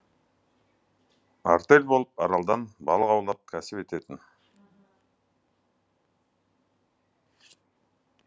артель болып аралдан балық аулап кәсіп ететін